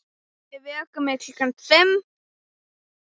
Afi vekur mig klukkan fimm.